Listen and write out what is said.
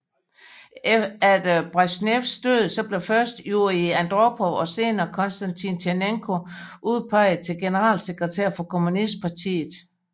Efter Bresjnevs død blev først Jurij Andropov og senere Konstantin Tjernenko udpeget til generalsekretær for kommunistpartiet